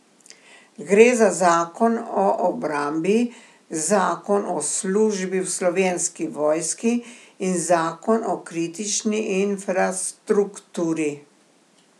Gre za zakon o obrambi, zakon o službi v Slovenski vojski in zakon o kritični infrastrukturi.